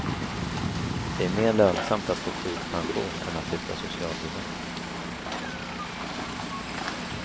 Det är mer lönsamt att få sjukpension än att lyfta socialbidrag.